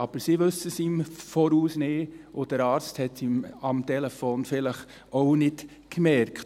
Aber sie wissen es im Voraus nicht, und der Arzt hat es am Telefon vielleicht auch nicht gemerkt.